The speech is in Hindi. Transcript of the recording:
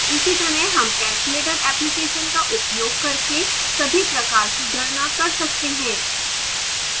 इसी तरह हम calculator application का उपयोग करके सभी प्रकार की गणना कर सकते हैं